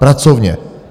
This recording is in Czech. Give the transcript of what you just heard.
Pracovně!